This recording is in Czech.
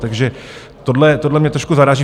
Takže tohle mě trošku zaráží.